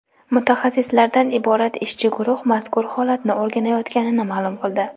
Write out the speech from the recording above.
mutaxassislardan iborat ishchi guruh mazkur holatni o‘rganayotganini ma’lum qildi.